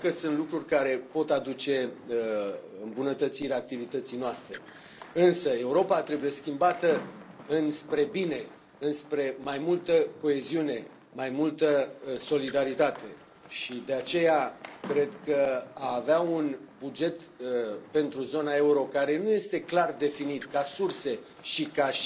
Cred că sunt lucruri care pot aduce îmbunătățirea activității noastre, însă Europa trebuie schimbată înspre bine, înspre mai multă coeziune, mai multă solidaritate și, de aceea, cred că a avea un buget pentru zona euro care nu este clar definit, ca surse și ca